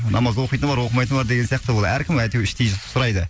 намаз оқитыны бар оқымайтыны бар деген сияқты ол әркім әйтеу іштей сұрайды